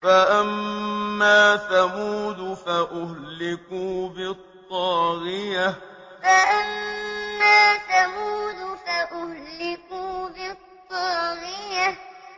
فَأَمَّا ثَمُودُ فَأُهْلِكُوا بِالطَّاغِيَةِ فَأَمَّا ثَمُودُ فَأُهْلِكُوا بِالطَّاغِيَةِ